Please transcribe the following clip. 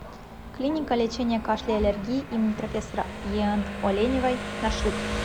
клиника лечения кашля и аллергии им профессора ен оленевой маршрут